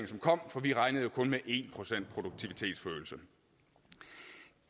som kom for vi regnede jo kun med en procent produktivitetsforøgelse